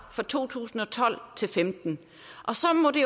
for to tusind og tolv til femten så må det